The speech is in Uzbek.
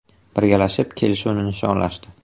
Birgalashib, kelishuvni nishonlashdi.